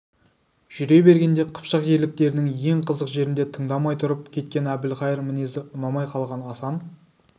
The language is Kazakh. жүре бергенде қыпшақ ерліктерінің ең қызық жерінде тыңдамай тұрып кеткен әбілқайыр мінезі ұнамай қалған асан